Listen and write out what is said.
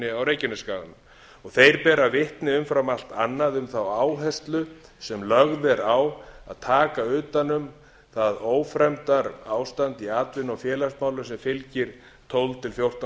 orkunýtingarverkefni á reykjanesskaga beina bera vitni umfram allt annað um þá áherslu sem lögð er á að taka utan um það ófremdarástand í atvinnu og félagsmálum sem fylgir tólf til fjórtán